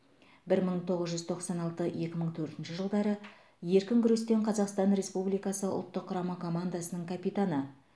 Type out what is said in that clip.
бір мың тоғыз жүз тоқсан алты екі мың төртінші жылдары еркін күрестен қазақстан республикасы ұлттық құрама командасының капитаны